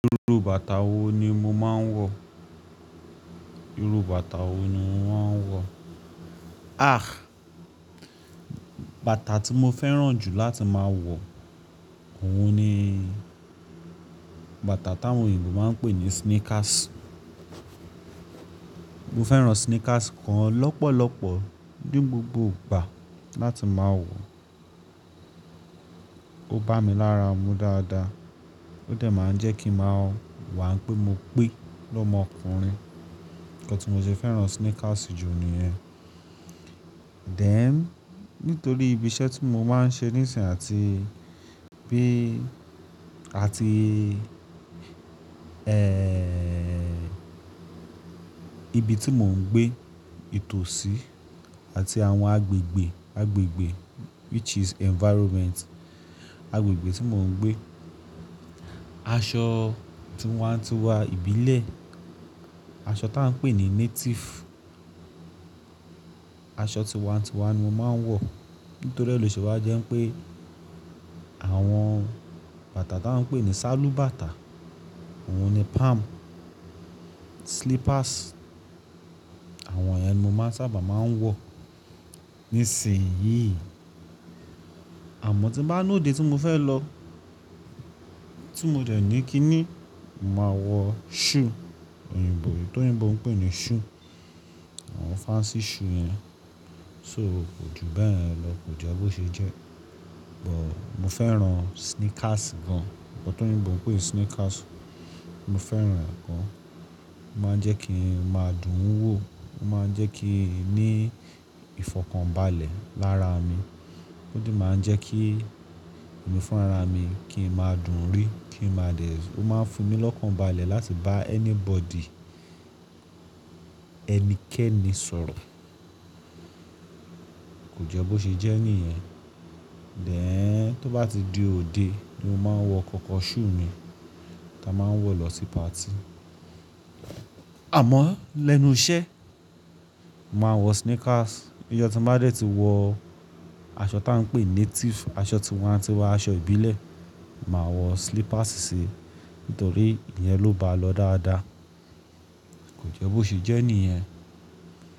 Iru bàtà wo ni mo máa ń wọ? Iru bàtà wo ni mo máa ń wọ? Ah! Bàtà tí mo fẹ́ràn jù láti máa wọ, òun ni bàtà tà wọn òyìnbó máa ń pè ní sneakers. Mo fẹ́ràn sneakers kan lọ́pọ̀lọpọ̀ ní gbogbo ìgbà láti máa wọ. Ó bá mi lára mu dáadáa, ó dè máa ń jẹ́ kí màá wà pé mo pè lọ́mọkùnrin. Ǹkan tí mo sì fẹ́ràn sneakers jù ni rẹ. Dẹ̀n, nítorí ibi iṣẹ́ tí mo máa ń ṣe níìsín àti bí, àti, eeh, ibi tí mò ń gbé ìtòsí àti àwọn agbègbè, agbègbè which is environment, agbègbè tí mò ń gbé, aṣọ tíí n wá ti wá n ìbílẹ̀, aṣọ táa ń pè ní native, aṣọ tí n wá ti n wá ni mo máa ń wọ. Nítorí ẹlẹ́ṣọ̀ wa jẹ́ pé àwọn bàtà táa ń pè ní sálúbàtà, òun ni palm, slippers, àwọn yẹn ni mo máa sábà máa ń wọ ní ìsìn yìí. Àmọ́ tí bá ní òde tí mo fẹ́ lọ, tí mo dẹ̀ ní kí ni, màá wọ shoe, òyìnbó, tò n òyìnbó ń pè ní shoe, àwọn fancy shoe yẹn. So, ko júbé yén lọ, kò jẹ́ bó ṣe jẹ́. But mo fẹ́ràn sneakers gan. Ǹkan tí òyìnbó ń pè sneakers, mo fẹ́ràn gàn. Ó máa ń jẹ́ kí n máa dùn ún wò, ó máa ń jẹ́ kí n ní ìfọ̀kànbalẹ̀ lára mi, ó dì máa ń jẹ́ kí èmí fún ara mi kí n máa dùn ún rí, kí n máa dẹ̀, ó máa ń fún mí lọ́kànbalẹ̀ láti bá anybody, ẹnikẹ́ni sọ̀rọ̀. Kò jẹ́ bó ṣe jẹ́ nìyẹn. Dẹ̀ n, tó bá ti di òde ni mo máa ń wọ kọ́kọ́ shoe mi ta máa ń wọ lọ sí party. Àmọ́ lẹ́nu iṣẹ́, màá wọ sneakers. Iyọ̀ tí mo bá dẹ̀ tí wọ aṣọ táa ń pè native, aṣọ tí wá ti wá aṣọ ìbílẹ̀, màá wọ slippers síi nítorí ìyẹn ló bá lọ dáadáa. Kò jẹ́ bó ṣe jẹ́ nìyẹn.